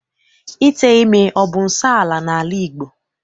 Ite ime abụ nsọala n'ala Igbo?